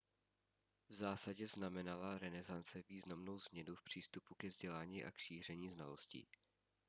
v zásadě znamenala renesance významnou změnu v přístupu ke vzdělání a k šíření znalostí